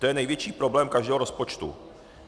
To je největší problém každého rozpočtu.